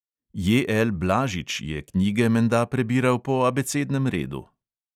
J L blažič je knjige menda prebiral po abecednem redu.